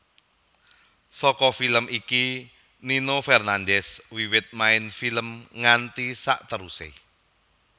Saka film iki Nino Fernandez wiwit main film nganti saterusé